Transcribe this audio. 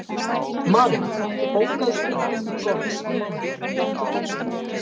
Marit, bókaðu hring í golf á mánudaginn.